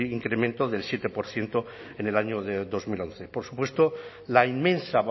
incremento del siete por ciento en el año dos mil once por supuesto la inmensa